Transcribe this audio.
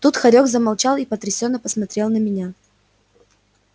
тут хорёк замолчал и потрясенно посмотрел на меня